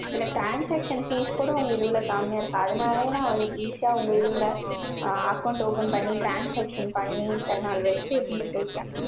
இதுல transaction fees கூட உங்க இதுல கம்மியா இருக்கும் அதுனால தான் easy யா உங்க இதுல account open பண்ணி transaction பண்ணி இத்தன நாள் வரிக்கும் இருந்திட்டு இருக்கேன்.